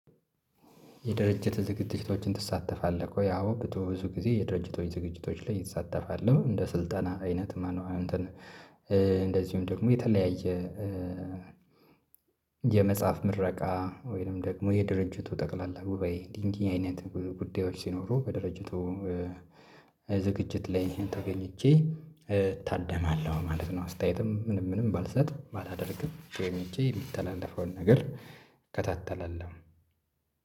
የድርጅት ዝግጅቶችን ትሳተፋለህ ወይ? አዎ ብትወሱ ጊዜ የድርጅቶች ዝግጅቶች ላይ እሳተፋል እንደ ስልጠና አይነት ማነው? እንደዚሁም ደግሞ የተለያየ የመጽሐፍ ምረቃ ወይንም ደግሞ የድርጅቱ ጠቅላላ ጉባኤ እንዲህ እንዲህ አይነት ጉዳዮች ሲኖሩ በድርጅቱ ዝግጅት ላይ ተገኝቼ እታደማለሁ ማለት ነው። አስተያየትም ምንም ምንም ባልሰጥ ባላደርግም ብቻዬን ሄጄ የሚትተላለፈውን ነገር እከታተላለሁ